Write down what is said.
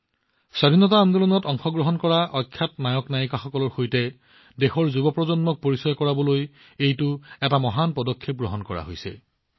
স্বাধীনতা আন্দোলনত অংশগ্ৰহণ কৰা অখ্যাত নায়ক আৰু নায়িকাসকলৰ ত্যাগৰ সৈতে দেশৰ যুৱ প্ৰজন্মক পৰিচয় কৰাবলৈ এইটো এটা মহান পদক্ষেপ হিচাপে বিবেচিত হৈছে